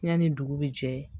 Yanni dugu bi jɛ